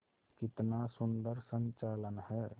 कितना सुंदर संचालन है